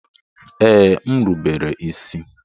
Ee, m rubere isi.